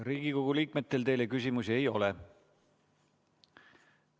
Riigikogu liikmetel teile küsimusi ei ole.